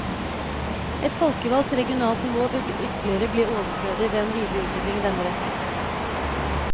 Et folkevalgt regionalt nivå vil ytterligere bli overflødig ved en videre utvikling i denne retning.